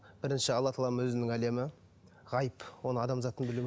бірінші алла тағаланың өзінің әлемі ғайып оның адамзаттың